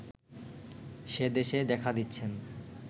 সে দেশে দেখা দিচ্ছেন